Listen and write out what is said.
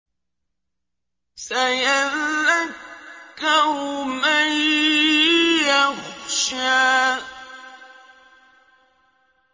سَيَذَّكَّرُ مَن يَخْشَىٰ